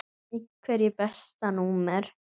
Einherji Besta númer?